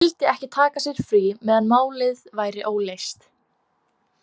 Vildi ekki taka sér frí meðan málið væri óleyst.